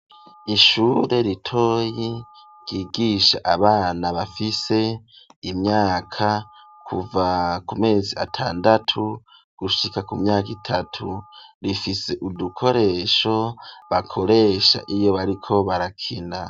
ishure ritoyi ryigisha abana bafise imyaka kuva ku mezi atandatu gushika ku myaka itatu, rifise udukoresho bakoresha iyo bariko barakina.